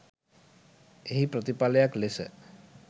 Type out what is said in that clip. එහි ප්‍රතිපලයක් ලෙස